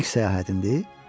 İlk səyahətimdir?